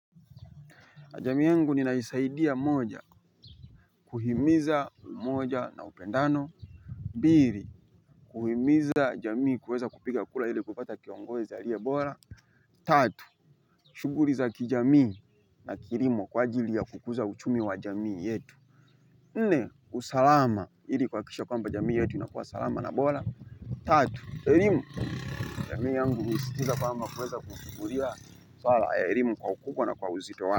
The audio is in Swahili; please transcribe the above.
Jamii yangu ninaisaidia moja, kuhimiza moja na upendano. Mbili, kuhimiza jamii kuweza kupiga kura ili kupata kiongozi aliye bora. Tatu, shuguli za kijamii na kilimo kwa ajili ya kukuza uchumi wa jamii yetu. Nne, usalama ili kuhakisha kwamba jamii yetu inakuwa salama na bora. Tatu elimu. Jamii yangu husikiza kwamba kueza kuchukulia elimu kwa ukubwa na uzito wake.